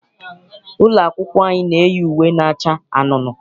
Ụlọ akwụkwọ anyị na-eyi uwe na-acha anunuu.